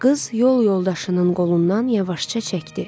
Qız yol yoldaşının qolundan yavaşca çəkdi.